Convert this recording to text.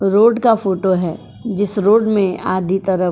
road का photo है जिस रोड में आदि तरफ --